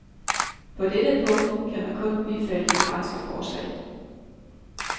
På dette punkt kan man kun bifalde det franske forslag.